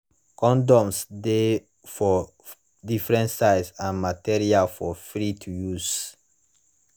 condoms de for different size and material for free to use